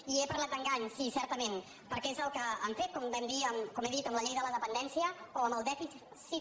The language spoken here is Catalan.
i he parlat d’engany sí certament perquè és el que han fet com he dit amb la llei de la dependència o amb el dèficit fiscal d’aquest país